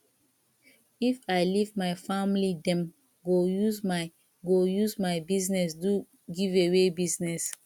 if i leave my family dem go use my go use my business do giveaway business